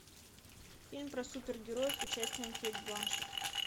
фильм про супергероев с участием кейт бланшетт